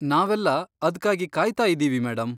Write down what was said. ನಾವೆಲ್ಲ ಅದ್ಕಾಗಿ ಕಾಯ್ತಾ ಇದ್ದೀವಿ, ಮೇಡಂ.